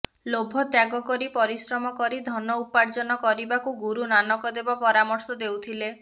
ଲୋଭ ତ୍ୟାଗ କରି ପରିଶ୍ରମ କରି ଧନ ଉପାର୍ଜନ କରିବାକୁ ଗୁରୁ ନାନକ ଦେବ ପରାମର୍ଶ ଦେଉଥିଲେ